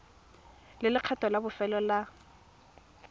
le lekgetho la bofelo la